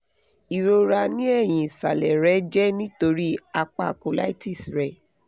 irora ní ẹ̀yìn isàlè rẹ jẹ́ nítorí apá colitis rẹ